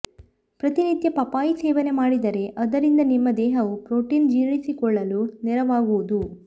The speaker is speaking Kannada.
ಪ್ರತಿನಿತ್ಯ ಪಪ್ಪಾಯಿ ಸೇವನೆ ಮಾಡಿದರೆ ಅದರಿಂದ ನಿಮ್ಮ ದೇಹವು ಪ್ರೋಟೀನ್ ಜೀರ್ಣಿಸಿಕೊಳ್ಳಲು ನೆರವಾಗುವುದು